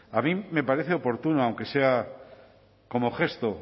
a mí me parece oportuno aunque sea como gesto